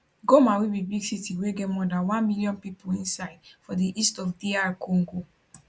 goma wey be big city wey get more dan one million pipo inside for di east of dr congo